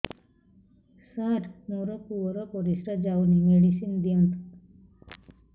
ସାର ମୋର ପୁଅର ପରିସ୍ରା ଯାଉନି ମେଡିସିନ ଦିଅନ୍ତୁ